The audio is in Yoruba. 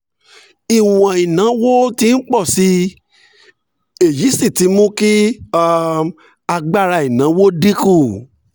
ìwọ̀n ìnáwó ti ń pọ̀ sí i èyí sì ti mú kí um agbára ìnáwó dín kù